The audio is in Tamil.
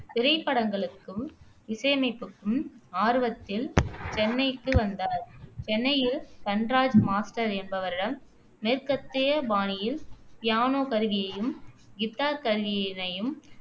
திரைப்படங்களுக்கும் இசையமைப்புக்கும் ஆர்வத்தில் சென்னைக்கு வந்தார் சென்னையில் தன்ராஜ் மாஸ்டர் என்பவரிடம் மேற்கத்திய பாணியில் பியானோ கருவியையும், கித்தார் கருவியினையும்